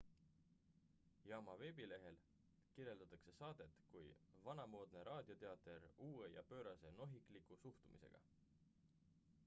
"jaama veebilehel kirjeldatakse saadet kui "vanamoodne raadioteater uue ja pöörase nohikliku suhtumisega!""